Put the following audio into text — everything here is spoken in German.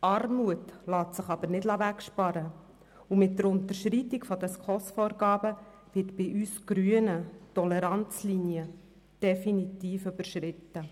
Doch lässt sich Armut nicht wegsparen, und mit der Unterschreitung der SKOS-Vorgaben wird bei uns Grünen die Toleranzlinie definitiv überschritten.